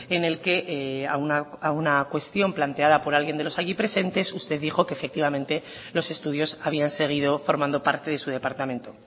en el que a una cuestión planteada por alguien de los allí presentes usted dijo que efectivamente los estudios habían seguido formando parte de su departamento